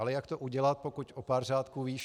Ale jak to udělat, pokud o pár řádků výš